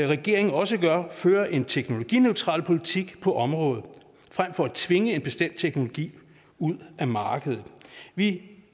regering også føre en teknologineutral politik på området frem for at tvinge en bestemt teknologi ud af markedet vi